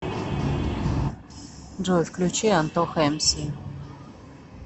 джой включи антоха эмси